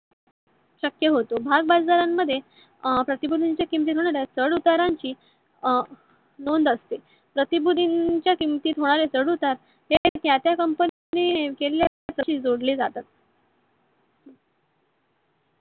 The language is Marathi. शक्य होतो. भागाबजारण मध्ये अं प्रतिभूतींच्या किमती मध्ये चढ उतांची अं नोंद असते. प्र्तीभूतीन च्या किमतीत होणारे चढ उतार हे त्या त्या company ने केलेल्या जोडले जातात.